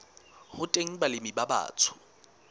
ho teng balemi ba batsho